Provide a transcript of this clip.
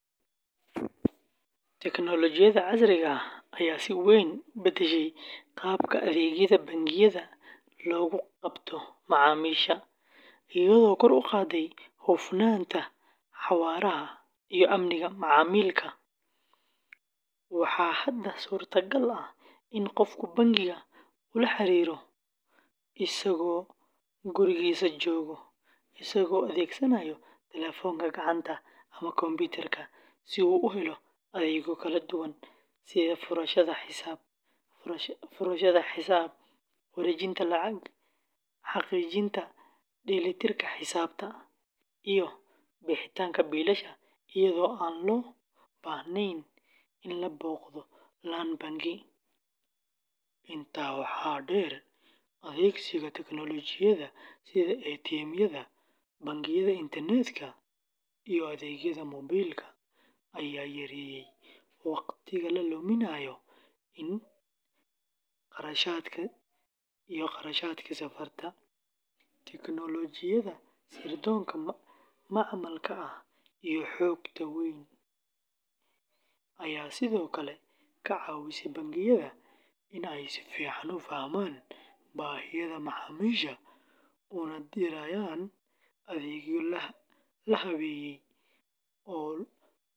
Tignoolajiyada casriga ah ayaa si weyn u beddeshay qaabka adeegyada bangiyada loogu qabto macaamiisha, iyadoo kor u qaadday hufnaanta, xawaaraha, iyo amniga macaamilka. Waxaa hadda suurtagal ah in qofku bangiga ula xiriiro isagoo gurigiisa jooga, isagoo adeegsanaya telefoonka gacanta ama kombiyuutarka si uu u helo adeegyo kala duwan sida furashada xisaab, wareejinta lacagaha, xaqiijinta dheelitirka xisaabta, iyo bixinta biilasha iyadoo aan loo baahnayn in la booqdo laan bangi. Intaa waxaa dheer, adeegsiga tignoolajiyada sida ATM-yada, bangiyada internetka, iyo adeegyada moobiilka ayaa yareeyay wakhtiga la luminayo iyo kharashaadka safarka. Tignoolajiyada sirdoonka macmalka ah iyo xogta weyn ayaa sidoo kale ka caawisay bangiyada in ay si fiican u fahmaan baahiyaha macaamiisha una diyaariyaan adeegyo la habeeyey.